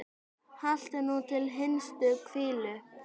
Haltu nú til hinstu hvílu.